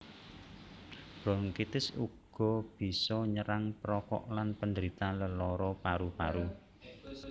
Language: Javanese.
Bronkitis uga bisa nyerang perokok lan penderita lelara paru paru